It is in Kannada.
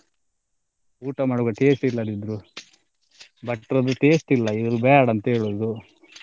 ಊಟ ಮಾಡುವಾಗ taste ಇಲ್ಲದಿದ್ರು ಭಟ್ರದ್ದು taste ಇಲ್ಲ ಇವರು ಬೇಡ ಅಂತ ಹೇಳುದು.